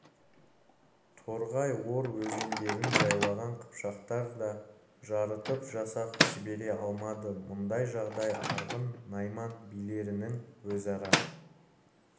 торғай ор өзендерін жайлаған қыпшақтар да жарытып жасақ жібере алмады мұндай жағдай арғын найман билерінің өзара